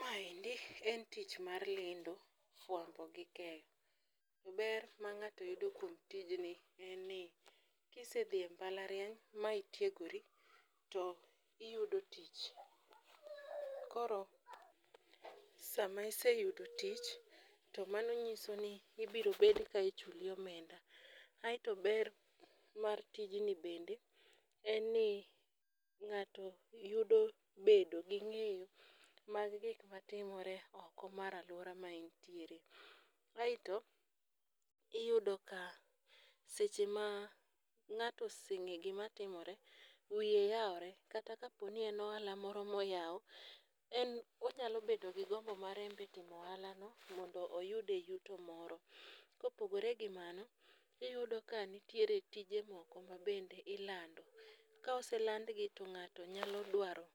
Ma endi e tich mar lendo, fwambo gi keyo. Ber ma ng'ato yudo kuom tijni en ni, kisedhie mbalariany ma itiegori to iyudo tich koro sama iseyudo tich to mano nyisoni ibirobed ka ichuli omenda. Ae to ber mar tijni bende en ni ng'ato yudo bedo gi ng'eyo mag gik matimore oko mar aluora maentiere, aeto, iyudoka seche ma ng'ato oseng'e gima timore wiye yaore, kata kaponi en ohala moro moyaw en onyalo bedo gi gombo mare enbe timo ohalano mondo oyude yuto moro. Kopogore gi mano iyudo ka nitiere tije moko mabende ilando. Ka oselandgi to ng'ato nyalo dwaro